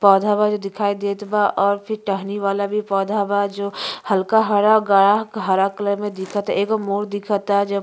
पौधा बा जो दिखाई देत बा और टहनी वाला भी पौधा बा जो हल्का हरा गाढ़ा हरा कलर में दिखता। एगो मोर दिखता ज --